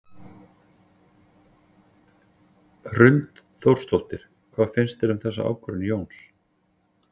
Hrund Þórsdóttir: Hvað finnst þér um þessa ákvörðun Jóns?